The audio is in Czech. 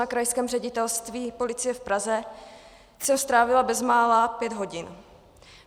Na Krajském ředitelství policie v Praze jsem strávila bezmála pět hodin.